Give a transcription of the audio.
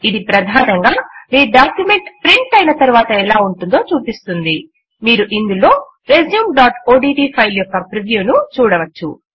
ఇది ప్రధానంగా మీ డాక్యుమెంట్ ప్రింట్ అయిన తరువాత ఎలా ఉంటుందో చూపిస్తుంది మీరు ఇందులో resumeఓడ్ట్ ఫైల్ యొక్క ప్రివ్యూ ను చూడవచ్చు